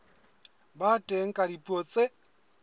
ba teng ka dipuo tse